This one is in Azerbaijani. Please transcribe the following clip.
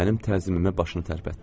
Mənim tərsliyimə başını tərpətdi.